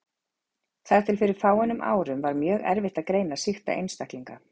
Þar til fyrir fáeinum árum var mjög erfitt að greina sýkta einstaklinga.